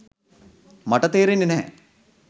මට තේරෙන්නේ නැහැ.